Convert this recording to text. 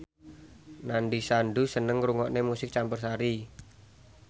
Nandish Sandhu seneng ngrungokne musik campursari